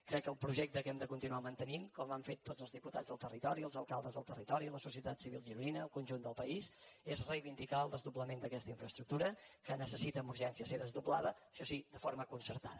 crec que el projecte que hem de continuar mantenint com han fet tots els diputats del territori els alcaldes del territori la societat civil gironina el conjunt del país és reivindicar el desdoblament d’aquesta infraestructura que necessita amb urgència ser desdoblada això sí de forma concertada